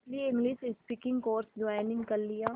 इसलिए English speaking course join कर लिया